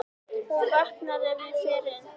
Hún vaknar ef ég fer inn.